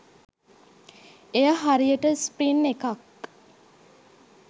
එය හරියට ස්ප්‍රින් එකක්